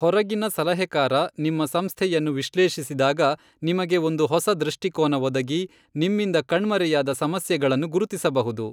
ಹೊರಗಿನ ಸಲಹೆಕಾರ ನಿಮ್ಮ ಸಂಸ್ಥೆಯನ್ನು ವಿಶ್ಲೇಷಿಸಿದಾಗ ನಿಮಗೆ ಒಂದು ಹೊಸ ದೃಷ್ಟಿಕೋನ ಒದಗಿ ನಿಮ್ಮಿಂದ ಕಣ್ಮರೆಯಾದ ಸಮಸ್ಯೆಗಳನ್ನು ಗುರುತಿಸಬಹುದು.